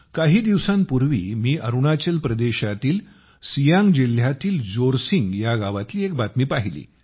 काही दिवसांपूर्वी मी अरुणाचल प्रदेशातील सियांग जिल्ह्यातील जोरसिंग गावातील एक बातमी पाहिली